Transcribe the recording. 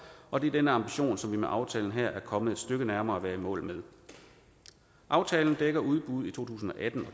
og det er den ambition som vi med aftalen her er kommet et stykke nærmere at være i mål med aftalen dækker udbuddet i to tusind og atten